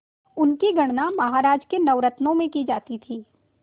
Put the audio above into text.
उनकी गणना महाराज के नवरत्नों में की जाती थी